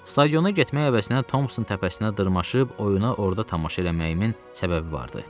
Stadiona getmək əvəzinə Tomson təpəsinə dırmaşıb oyuna orada tamaşa eləməyimin səbəbi vardı.